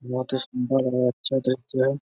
बहुत ही सुन्दर और अच्छा दृश्य जो है ।